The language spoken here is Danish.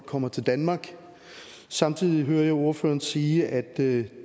kommer til danmark samtidig hører jeg ordføreren sige at det